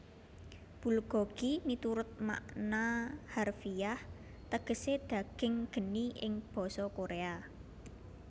Bulgogi miturut makna harfiah tegesé daging geni ing basa Koréa